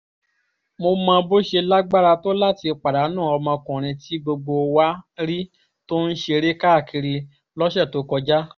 mo mọ bó ṣe lágbára tó láti pàdánù ọmọkùnrin tí gbogbo wa rí tó ń ṣeré káàkiri lọ́sẹ̀ tó kọjá